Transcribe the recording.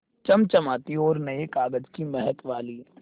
चमचमाती और नये कागज़ की महक वाली